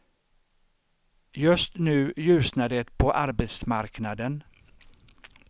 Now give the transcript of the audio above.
Just nu ljusnar det på arbetsmarknaden.